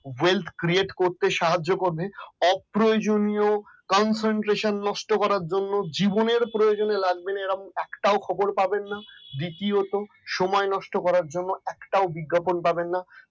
weld create করতে করতে সাহায্য করবে হাত অপ্রয়োজনীয় concentration নষ্ট করার জন্য জীবনের প্রয়োজনে লাগবেনা এবং একটাও খবর পাবেন না দ্বিতীয়তঃ সময় নষ্ট করার জন্য একটাও বিজ্ঞাপন পাবেন না